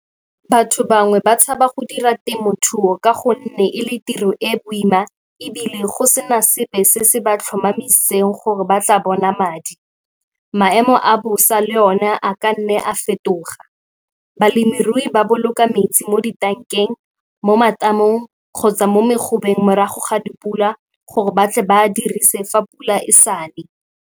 Batho bangwe ba tshaba go dira temothuo ka gonne e le tiro e e boima ebile go sena sepe se se ba tlhomamiseng gore ba tla bona madi. Maemo a bosa le one a ka nne a fetoga. Balemirui ba boloka metsi mo ditankeng, mo matamong kgotsa mo megobeng morago ga dipula gore ba tle ba a a dirise fa pula e sa ne.